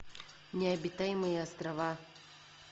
необитаемые острова